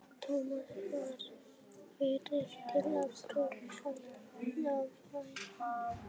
Thomas varð fyrri til að brjótast á fætur.